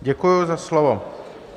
Děkuji za slovo.